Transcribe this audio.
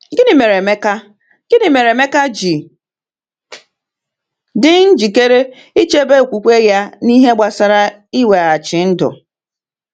Gịnị mere Emeka Gịnị mere Emeka ji dị njikere ịchebe okwukwe ya n’ihe gbasara mweghachi ndụ?